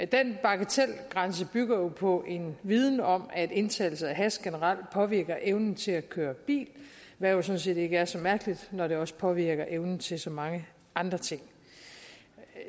den bagatelgrænse bygger jo på en viden om at indtagelse af hash generelt påvirker evnen til at køre bil hvad jo sådan set ikke er så mærkeligt når det også påvirker evnen til at gøre så mange andre ting